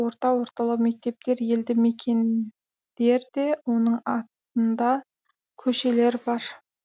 орта орталау мектептер елді мекендер де оның атында көшелер бар